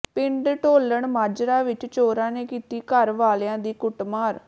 ਪਿੰਡ ਢੋਲਣ ਮਾਜਰਾ ਵਿਚ ਚੋਰਾਂ ਨੇ ਕੀਤੀ ਘਰ ਵਾਲਿਆਂ ਦੀ ਕੁੱਟਮਾਰ